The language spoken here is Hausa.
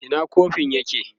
Ina kofin nan yake?